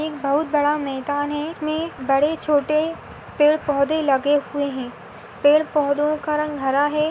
एक बहुत बड़ा मैदान है इसमे बड़े-छोटे पेड़पौधे लगे हुए है पेड़पौधों का रंग हरा है।